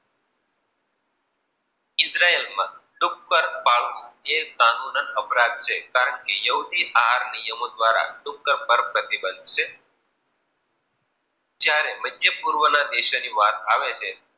Israel માં ડુક્કર પર પાળવું, યે કાનુંન્ય અપરાધ છે કારણકે યહૂદી આહાર નિયમો દ્રારા ડુક્કર પર પ્રતિબંધ બનશે. જ્યારે મધ્ય પૂર્વ દેશ ની વાત કરવામાં આવે.